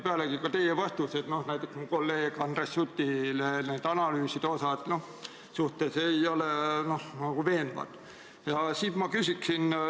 Teie vastused, näiteks kolleeg Andres Sutile, kes küsis analüüside kohta, ei ole veenvad olnud.